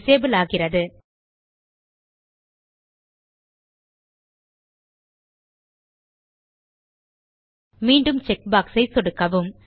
disable ஆகிறது மீண்டும் check box ஐ சொடுக்கவும்